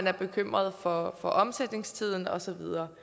er bekymret for omsætningstiden og så videre